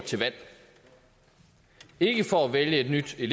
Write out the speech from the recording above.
ikke fordi vi i